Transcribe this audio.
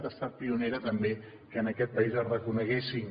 ha estat pionera també que en aquest país es reconeguessin